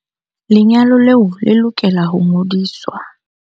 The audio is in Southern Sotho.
Lenyalo leo le lokela ho ngodiswa.